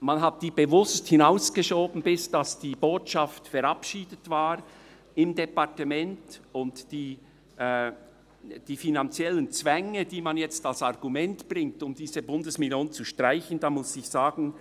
Man hat dies bewusst hinausgeschoben, bis die Botschaft im Departement verabschiedet war, und zu den finanziellen Zwängen, die man nun als Argument bringt, um diese Bundesmillion zu streichen, muss ich sagen: